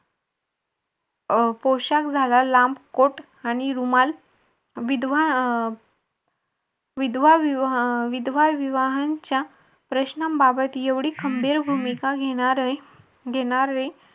अं पोशाख झाला लांब कोट आणि रुमाल विधवा अह विधवाविवाह यांच्या प्रश्नांबाबत एवढी खंबीर भूमिका घेणारे घेणारे